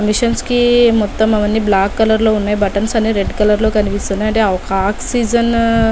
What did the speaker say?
missions కి మొత్తం అవన్నీ బ్లాక్ కలర్ లో ఉన్నాయి బట్టన్స్ అన్ని రెడ్ కలర్ కనిపిస్తున్నాయ్ అంటే ఒక ఆక్సిజన్ --